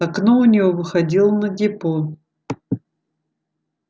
окно у него выходило на депо